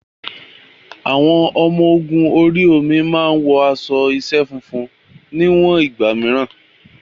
Àwọn ọmọ ogun orí omi máa wọ aṣọ iṣẹ́ funfun ní àwọn ìgbà mìíràn.